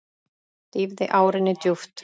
Dýfði árinni djúpt.